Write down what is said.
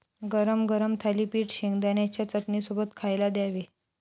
गरम गरम थालीपीठ शेंगदाण्याच्या चटणीसोबत खायला द्यावे.